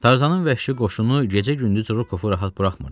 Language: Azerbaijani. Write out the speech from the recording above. Tarzanın vəhşi qoşunu gecə-gündüz Rokofu rahat buraxmırdı.